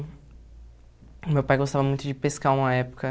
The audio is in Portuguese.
O meu pai gostava muito de pescar uma época.